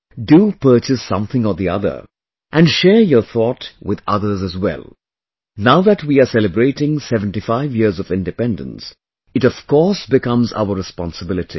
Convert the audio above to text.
Do purchase something or the other and share your thought with others as well...now that we are celebrating 75 years of Independence, it of course becomes our responsibility